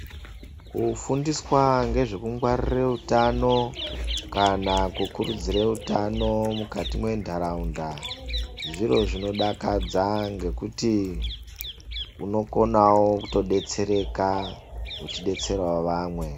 Kufundiswa ngezvekungwaririre utano kana kukurudzire utano mukati mendaraunda. Zviro zvinodakadza ngekuti unokonavo kutodetsereka uchidetseravo vamwe.